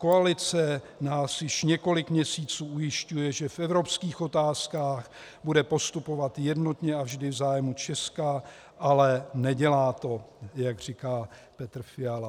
Koalice nás již několik měsíců ujišťuje, že v evropských otázkách bude postupovat jednotně a vždy v zájmu Česka, ale nedělá to," jak říká Petr Fiala.